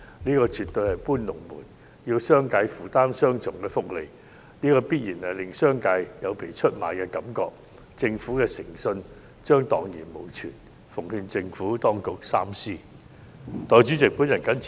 這絕對是"搬龍門"，要商界負擔雙重福利，必然會令商界有被出賣的感覺，政府的誠信將蕩然無存，我奉勸政府當局三思。